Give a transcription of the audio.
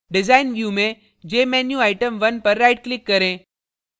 design view में jmenuitem1 पर right click करें